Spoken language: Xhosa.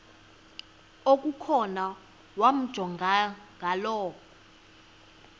okukhona wamjongay ngaloo